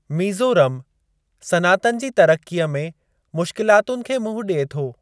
मीज़ोरम सनातन जी तरक़्क़ीअ में मुश्किलातुनि खे मुंहुं ॾिए थो।